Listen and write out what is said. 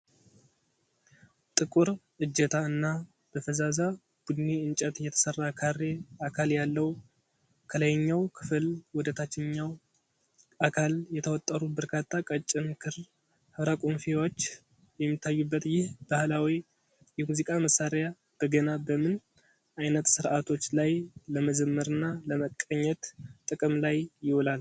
ጥቁር እጀታ እና በፈዛዛ ቡኒ እንጨት የተሰራ ካሬ አካል ያለው፣ ከላይኛው ክፍል ወደ ታችኛው አካል የተወጠሩ በርካታ ቀጭን ክር ሕብረቁምፊዎች የሚታዩበት ይህ ባህላዊ የሙዚቃ መሳሪያ (በገና)፣ በምን አይነት ሥርዓቶች ላይ ለመዘመርና ለመቀኘት ጥቅም ላይ ይውላል?